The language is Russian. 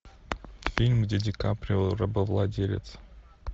фильм где ди каприо рабовладелец